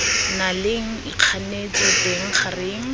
na leng ikganetso teng gareng